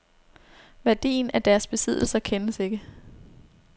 Værdien af deres besiddelser kendes ikke.